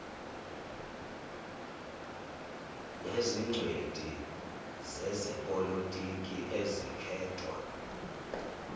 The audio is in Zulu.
nezingcweti zezepolotiki ezikhethwa